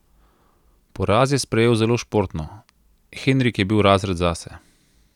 Poraz je sprejel zelo športno: "Henrik je bil razred zase.